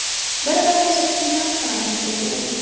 Bir-birimizni hurmat qilamiz”, dedi u.